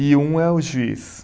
E um é o juiz.